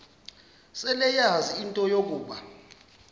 seleyazi into yokuba